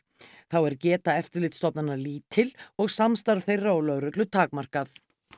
þá er geta eftirlitsstofnana lítil og samstarf þeirra og lögreglu takmarkað